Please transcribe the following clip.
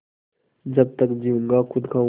जब तक जीऊँगा खुद खाऊँगा